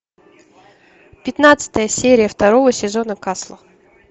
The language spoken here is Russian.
пятнадцатая серия второго сезона касла